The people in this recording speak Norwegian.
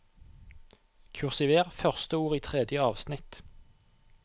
Kursiver første ord i tredje avsnitt